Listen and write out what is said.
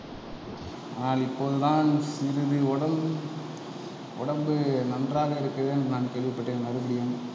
நான் இப்போதுதான் சிறிது உடம்பு உடம்பு நன்றாக இருக்கிறது என்று நான் கேள்விப்பட்டேன் மறுபடியும்